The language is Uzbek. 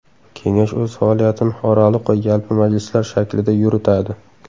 Kengash o‘z faoliyatini oraliq va yalpi majlislar shaklida yuritadi.